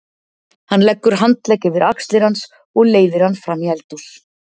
Hann leggur handlegg yfir axlir hans og leiðir hann fram í eldhús.